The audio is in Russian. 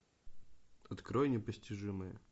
открой непостижимые